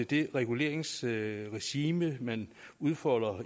det reguleringsregime man udfolder